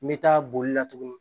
Me taa bolila tuguni